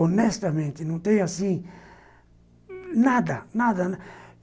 Honestamente, não tenho assim... Nada, nada.